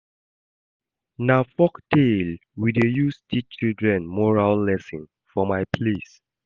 Na folktale we dey use teach children moral lesson for my place.